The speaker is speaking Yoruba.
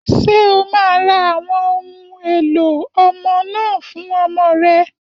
Ṣé o máa ra àwọn ohun èlò ọmọ náà fún ọmọ rẹ?